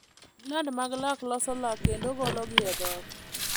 Gland mag lak loso lak kendo gologi e dhok.